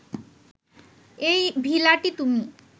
এই ভিলাটি তুমি